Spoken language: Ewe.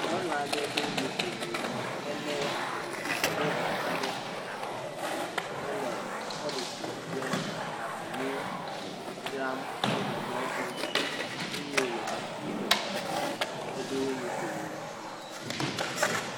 Nyɔnu aɖe ɖo nukomɔ hele silivagba ɖe ta hele polisi kple ɖavunu dzram le mɔto eye wole kuku me heɖo nukomo.